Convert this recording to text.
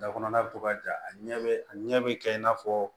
Da kɔnɔna bɛ to ka ja a ɲɛ bɛ a ɲɛ bɛ kɛ in n'a fɔ